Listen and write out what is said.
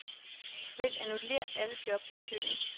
Vælg annullér alle job i køen.